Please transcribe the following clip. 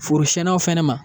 Forosɛnaw fɛnɛ ma.